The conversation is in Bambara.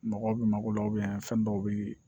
Mɔgɔw bɛ mago la fɛn dɔw bɛ yen